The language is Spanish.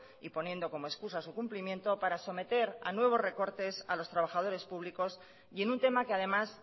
y poniendo como excusa su cumplimiento para someter a nuevos recortes a los trabajadores públicos y en un tema que además